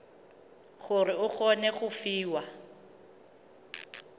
gore o kgone go fiwa